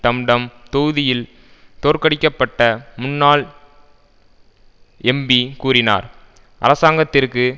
டம்டம் தொகுதியில் தோற்கடிக்கப்பட்ட முன்னாள் எம்பி கூறினார் அரசாங்கத்திற்கு